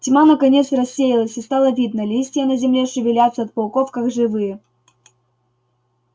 тьма наконец рассеялась и стало видно листья на земле шевелятся от пауков как живые